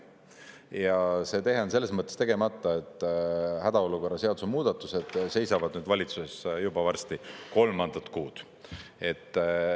Ja see tehe on selles mõttes tegemata, et hädaolukorra seaduse muudatused seisavad valitsuses varsti juba kolmandat kuud.